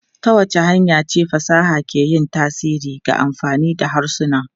Ta wace hanya ce fasaha ke yin tasiri ga amfani da harsuna?